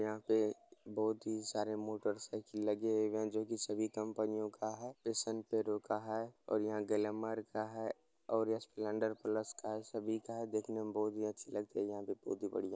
यहाँ पे बोहोत ही सारे मोटर साइकल लगे हुए हैं जो की सभी कंपनीयों का है। पैशन प्रो का है और यहाँ गलेमर का है और यहाँ स्प्लेन्डर प्लस का है सभी का है। देखने मे बोहोत ही अच्छी लग रही है बोहोत ही बढ़िया।